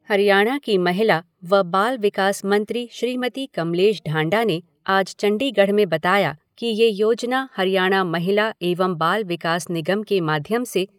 हरियाणा की महिला व बाल विकास मंत्री श्रीमती कमलेश ढांडा ने आज चंडीगढ़ में बताया कि यह योजना हरियाणा महिला एवं बाल विकास निगम के माध्यम से